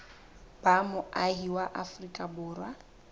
ba moahi wa afrika borwa